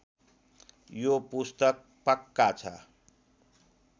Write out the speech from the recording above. यो पुस्तक पक्का छ